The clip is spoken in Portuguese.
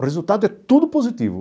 O resultado é tudo positivo.